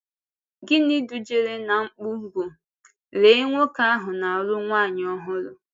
Gịnị dújere n’á mkpù bụ́: Léé nwoke ahụ na-alụ nwanyị ọhụrụ!